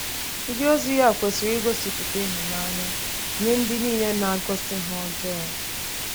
Ndịozi ya kwesịrị igosipụta ịhụnanya nye ndị niile na-agosi ha ọjọọ.